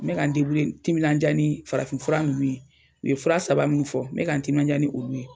N bɛ ka n timinandiya ni farafin fura nunnu ye. U ye fura saba min fɔ n bɛ ka n timinandiya ni olu ye.